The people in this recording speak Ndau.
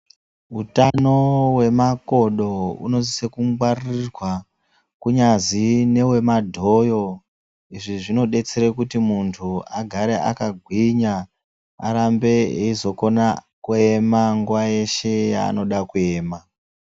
Utano hwemakodo hunosise kungwarirwa kunyazi newemadhoyo. Izvi zvinodetsere kuti muntu agare akagwinya arambe eizokona kuema nguwa yeshe yaanoda kuema.